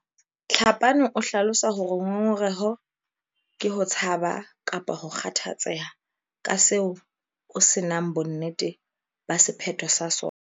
Tlhapane o hlalosa hore ngongoreho ke ho tshaba kapa ho kgathatseha ka seo o se nang bonnete ba sephetho sa sona.